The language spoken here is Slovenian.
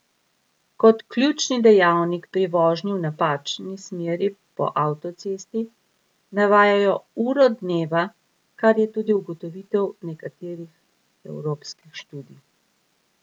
Kot ključni dejavnik pri vožnji v napačni smeri po avtocesti navajajo uro dneva, kar je tudi ugotovitev nekaterih evropskih študij.